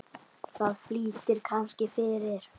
Það flýtir kannski fyrir.